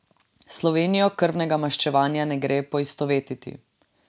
S Slovenijo krvnega maščevanja ne gre poistovetiti.